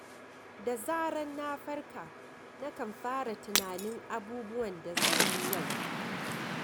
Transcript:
Da zarar na farka, na kan fara tunanin abubuwan da zan yi yau.